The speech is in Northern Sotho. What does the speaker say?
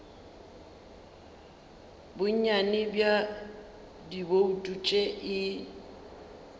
bonnyane bja dibouto tše e